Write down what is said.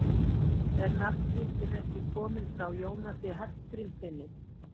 Er nafngiftin ekki komin frá Jónasi Hallgrímssyni?